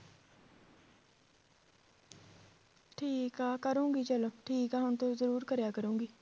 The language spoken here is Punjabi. ਠੀਕ ਆ ਕਰੂੰਗੀ ਚੱਲ ਠੀਕ ਆ ਹੁਣ ਤੋਂ ਜ਼ਰੂਰ ਕਰਿਆ ਕਰੂੰਗੀ